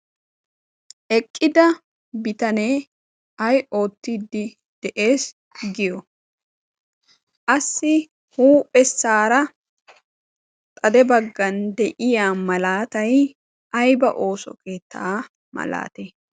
eqqida bitanee ay oottiddi de'ees. giyo assi huuphessaara xade baggan de'iya malaatay ayba ooso keettaa malaate?